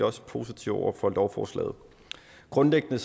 også positive over for lovforslaget grundlæggende